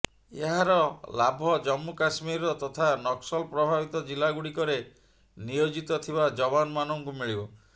ଏହାର ଲାଭ ଜମ୍ମୁ କାଶ୍ମୀରର ତଥା ନକ୍ସଲ ପ୍ରଭାବିତ ଜିଲ୍ଲାଗୁଡ଼ିକରେ ନିୟୋଜିତ ଥିବା ଯବାନ ମାନଙ୍କୁ ମିଳିବ